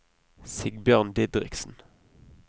Sigbjørn Didriksen